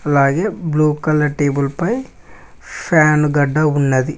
అలాగే blue colour table పై fan గడ్డ ఉన్నది.